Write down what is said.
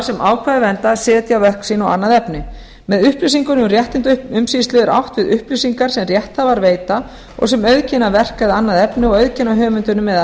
sem ákvæðið verndar setja á verk sín og annað efni með upplýsingunum um réttindaumsýslu er átt við upplýsingar sem rétthafar veita og sem auðkenna verk eða annað efni og auðkenna höfundinn eða